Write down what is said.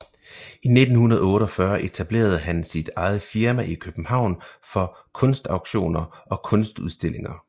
I 1948 etablerede han sit eget firma i København for kunstauktioner og kunstudstillinger